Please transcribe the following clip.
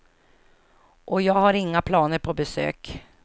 Och jag har inga planer på besök.